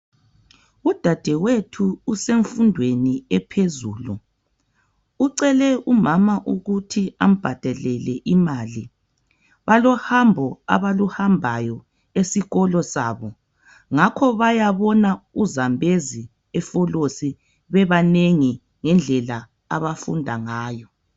Udadewethu usemfundweni ephezulu Ucele umama ukuthi ambhadalele imali. Balohambo abaluhambayo esikolo sabo ,ngakho bayabona u Zambezi e Folosi ngendlela abafunda ngayo